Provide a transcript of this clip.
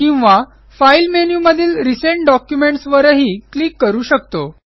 किंवा file menu मधील recent documents वरही क्लिक करू शकतो